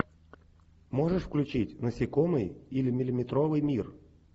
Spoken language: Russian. можешь включить насекомые или миллиметровый мир